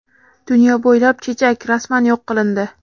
dunyo bo‘ylab chechak rasman yo‘q qilindi.